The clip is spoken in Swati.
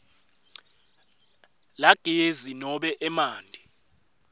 lagezi nobe emanti